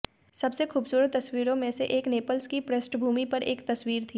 सबसे खूबसूरत तस्वीरों में से एक नेपल्स की पृष्ठभूमि पर एक तस्वीर थी